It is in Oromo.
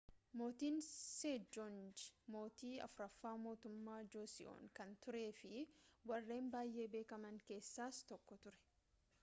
mootin seejoongii mootii afuraffaa mootummaa joosiyoon kan turee fi warreen baayye beekaman keessaas tokko ture